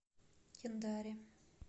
кендари